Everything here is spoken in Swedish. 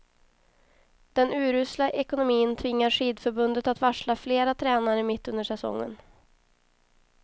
Den urusla ekonomin tvingar skidförbundet att varsla flera tränare mitt under säsongen.